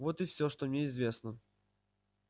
вот и всё что мне известно